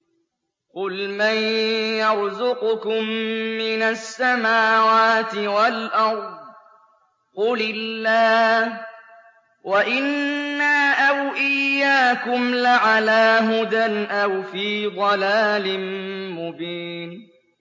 ۞ قُلْ مَن يَرْزُقُكُم مِّنَ السَّمَاوَاتِ وَالْأَرْضِ ۖ قُلِ اللَّهُ ۖ وَإِنَّا أَوْ إِيَّاكُمْ لَعَلَىٰ هُدًى أَوْ فِي ضَلَالٍ مُّبِينٍ